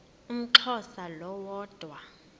umxhosa lo woda